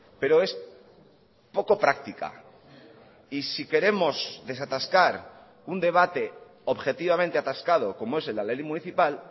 pero es poco práctica y si queremos desatascar un debate objetivamente atascado como es la ley municipal